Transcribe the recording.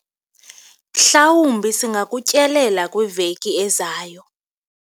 mhlawumbi singakutyelela kwiveki ezayo